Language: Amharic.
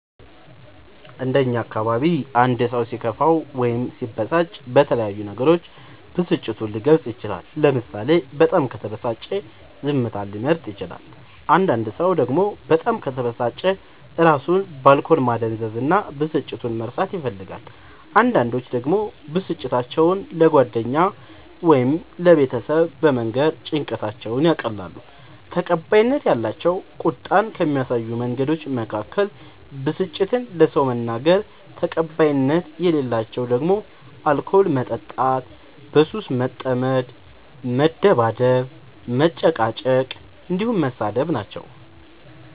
እንደ እኛ አካባቢ አንድ ሰው ሲከፋው ወይም ሲበሳጭ በተለያዩ ነገሮች ብስጭቱን ሊገልፅ ይችላል ለምሳሌ በጣም ከተበሳጨ ዝምታን ሊመርጥ ይችላል አንዳንድ ሰው ደግሞ በጣም ከተበሳጨ እራሱን በአልኮል ማደንዘዝ እና ብስጭቱን መርሳት ይፈልጋል አንዳንዶች ደግሞ ብስጭታቸው ለጓደኛ ወይም ለቤተሰብ በመንገር ጭንቀታቸውን ያቀላሉ። ተቀባይነት ያላቸው ቁጣን ከሚያሳዩ መንገዶች መካከል ብስጭትን ለሰው መናገር ተቀባይነት የሌላቸው ደግሞ አልኮል መጠጣት በሱስ መጠመድ መደባደብ መጨቃጨቅ